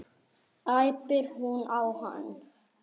æpir hún á hann.